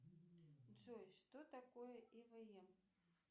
джой что такое эвм